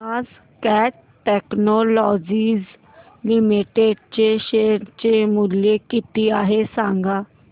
आज Cat Technologies Limited चे share चे मूल्य किती आहे सांगा